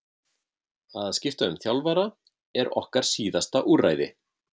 Að skipta um þjálfara er okkar síðasta úrræði.